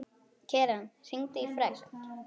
Keran, hringdu í Fregn.